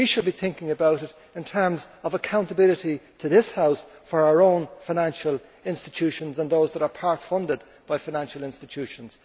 crisis. We should be thinking about it in terms of accountability to this House for our own financial institutions and those that are part funded by financial institutions.